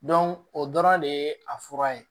o dɔrɔn de ye a fura ye